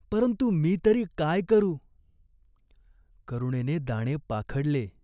गाय पाणी प्यायली. शेवटचे पाणी.